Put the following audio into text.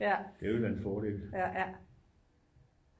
det ville være en fordel